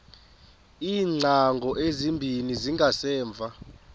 iingcango ezimbini zangasemva